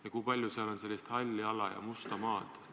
Ja kui palju seal on sellist halli ala ja musta maad?